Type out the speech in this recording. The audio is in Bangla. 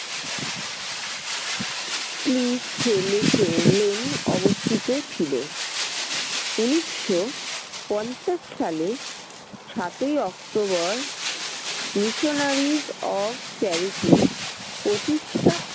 অবস্থিত ছিল। উনিশশো পঞ্চাশ সালে সাতই october missionaries of charity প্রতিষ্টা